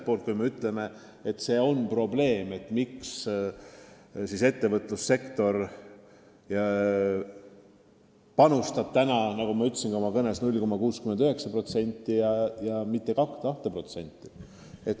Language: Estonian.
Praegu me ütleme, et meie probleem on, miks ettevõtlussektor panustab, nagu ma ka oma kõnes ütlesin, 0,69% ja mitte 2%.